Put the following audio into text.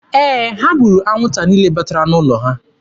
Ee, ha gburu anwụnta niile batara n'ụlọ ha.